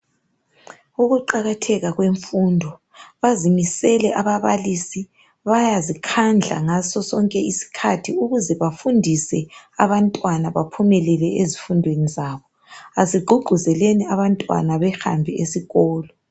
Ukuqakatheka kwemfundo, bayazimisela ababalisi, bayazikhandla ngasosonke isikhathi ukuze bafundise abantwana baphumelele ezifundweni zabo. Asigqugquzeleni abantwana bahambe esikolo.